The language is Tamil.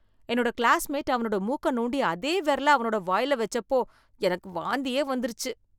என்னோட கிளாஸ்மேட் அவனோட மூக்க நோண்டி, அதே விரல அவனோட வாயில வெச்சப்போ எனக்கு வாந்தியே வந்துருச்சு.